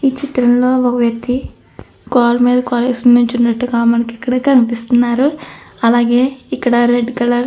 ఈ చిత్రం లో ఒక వ్యక్తి కాలు మీద కాలు వేసుకొని నించునటుగా మనకి ఇక్కడ కనిపిస్తున్నారు. అలాగే ఇక్కడ రెడ్ కలర్ --